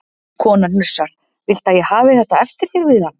Konan hnussar: Viltu að ég hafi þetta eftir þér við hann?